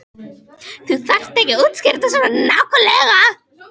Þú þarft ekki að útskýra þetta svona nákvæmlega.